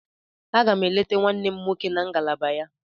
Aga m eleta nwanne m nwoke na ngalaba ya.